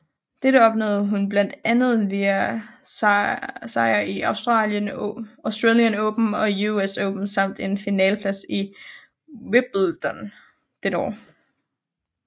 Dette opnåede hun blandet andet via sejre i Australian Open og US Open samt en finaleplads i Wimbledon dette år